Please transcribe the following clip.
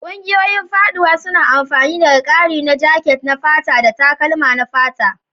Ƙungiyoyin faɗuwa suna amfana daga ƙari na jaket na fata da takalma na fata.